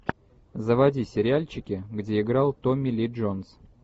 заводи сериальчики где играл томми ли джонс